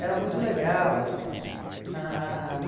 Era muito legal e tal. Ãh